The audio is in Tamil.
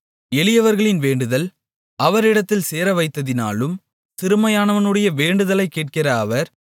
எளியவர்களின் வேண்டுதல் அவரிடத்தில் சேரவைத்ததினாலும் சிறுமையானவனுடைய வேண்டுதலை கேட்கிற அவர்